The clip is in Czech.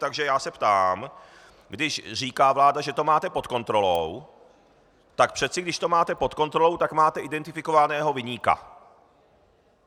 Takže já se ptám, když říká vláda, že to máte pod kontrolou, tak přece když to máte pod kontrolou, tak máte identifikovaného viníka.